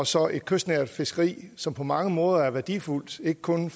så et kystnært fiskeri som på mange måder er værdifuldt ikke kun